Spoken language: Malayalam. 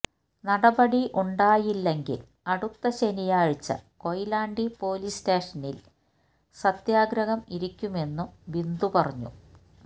നടപടി ഉണ്ടായില്ലെങ്കിൽ അടുത്ത ശനിയാഴ്ച കൊയിലാണ്ടി പൊലീസ് സ്റ്റേഷനില് സത്യാഗ്രഹം ഇരിക്കുമെന്നും ബിന്ദു പറഞ്ഞു